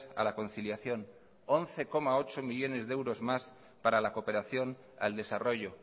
a la conciliación once coma ocho millónes de euros más para la cooperación al desarrollo